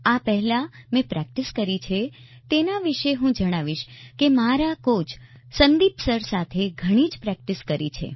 આ પહેલા મેં પ્રેક્ટિસ કરી છે તેના વિશે હું જણાવીશ કે મેં મારા કોચ સંદિપ સર સાથે ઘણી જ પ્રેક્ટિસ કરી છે